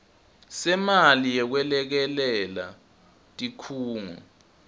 semali yekwelekelela tikhungo